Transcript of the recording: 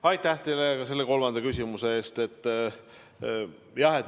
Aitäh teile ka selle küsimuse eest!